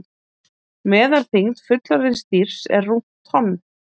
Meðalþyngd fullorðins dýrs er rúmt tonn.